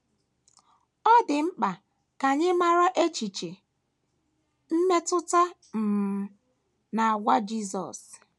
Ọ dị mkpa ka anyị mara echiche, mmetụta um, na àgwà Jisọs.